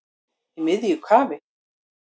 Í miðju kafi